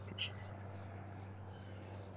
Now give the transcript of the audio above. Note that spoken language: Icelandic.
Breytt í skilorðsbundið fangelsi